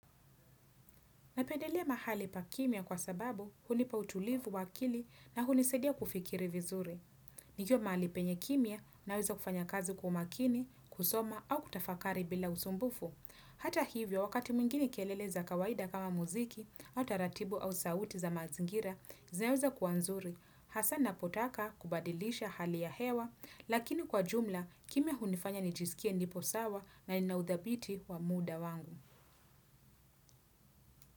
Napendelea mahali pa kimya kwa sababu hunipa utulivu wa akili na hunisadia kufikiri vizuri. Nikiwa mahali penye kimya naweza kufanya kazi kwa makini, kusoma au kutafakari bila usumbufu. Hata hivyo, wakati mwingine kelele za kawaida kama muziki, au taratibu au sauti za mazingira, zinaweza kuwa nzuri. Hasa ninapotaka kubadilisha hali ya hewa, lakini kwa jumla, kimya hunifanya nijisikie nipo sawa na ninaudhabiti wa muda wangu.